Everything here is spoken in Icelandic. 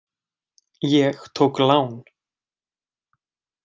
Ég tók lán.